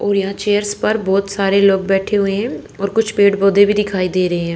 और यहां चेयर्स पर बहुत सारे लोग बैठे हुए हैं और कुछ पेड़ पौधे भी दिखाई दे रहे हैं।